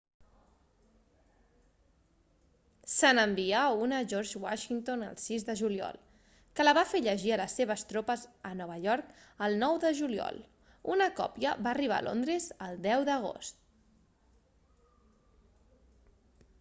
se n'envià una a george washington el 6 de juliol que la va fer llegir a les seves tropes a nova york el 9 de juliol una còpia va arribar a londres el 10 d'agost